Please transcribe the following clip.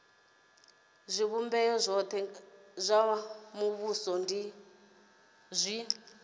zwivhumbeo zwothe zwa muvhuso zwi